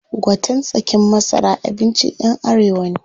Gwaten tsakin masara abincin ƴan arewa ne.